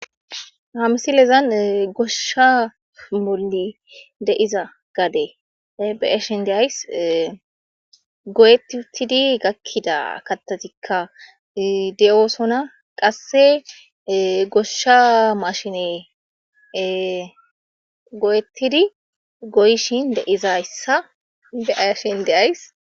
Ha misilezan goshsha bollan de7iza gade be7ashe de7ays goyetti uttidi gakkida kaththatikka de7osona ,qasse goshsha maashiney ee goyettidi ee goyishin de7izayssa be7ashe de7ays.